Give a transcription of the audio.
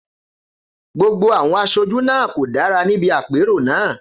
Gbogbo àwọn aṣojú náà kò dára níbi àpérò náà.